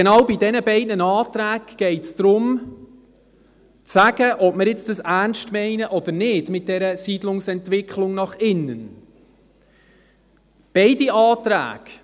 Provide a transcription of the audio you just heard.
Genau bei diesen beiden Anträgen geht es darum zu sagen, ob wir es mit der Siedlungsentwicklung nach innen ernst meinen oder nicht.